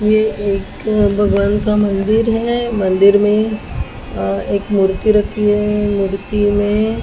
ये एक भगवान का मंदिर है मंदिर मे अ एक मूर्ति रखी है मूर्ति मे--